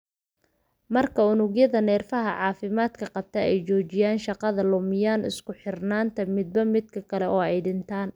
Marka unugyada neerfaha caafimaadka qabta ay joojiyaan shaqada, lumiyaan isku xirnaanta midba midka kale, oo ay dhintaan.